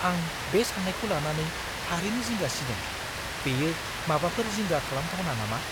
आं बे सानायखौ लानानै थारैनो जिंगा सिदों। बेयो माबाफोर जिंगा खालामथावना नामा?